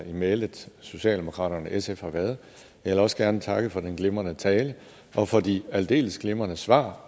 i mælet socialdemokraterne og sf har været jeg vil også gerne takke for den glimrende tale og for de aldeles glimrende svar